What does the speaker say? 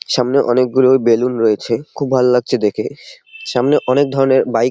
সামনে অনেক গুলো বেলুন রয়েছে। খুব ভাল লাগছে দেখে। সামনে অনেক ধরণের বাইক ।